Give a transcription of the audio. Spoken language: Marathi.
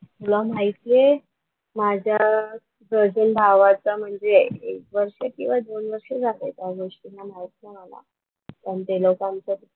तुला माहिती आहे माझ्या कझिन भावाचा म्हणजे एक वर्ष किंवा दोन वर्ष झाले त्या गोष्टीला माहित नाही मला पण ते लोकांचं,